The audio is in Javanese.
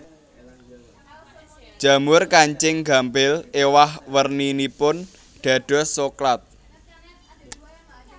Jamur kancing gampil éwah werninipun dados soklat